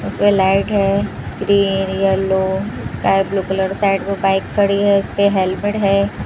उसमें लाइट है green yellow sky blue colour side में बाइक खड़ी है उसपे हेलमेट है।